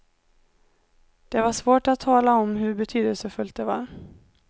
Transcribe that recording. Det var svårt att tala om hur betydelsefullt det var.